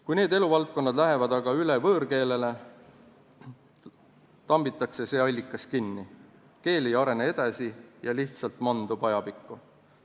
Kui need eluvaldkonnad lähevad üle võõrkeelele, tambitakse see allikas kinni, keel ei arene edasi ja lihtsalt mandub ajapikku.